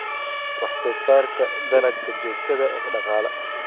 Wax-soosaarka Dalagga Joogtada ah ee Dhaqaale.